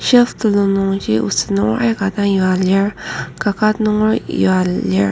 shelf telung nungji oset nunger aika dang yua lir kaket nunger yua lir.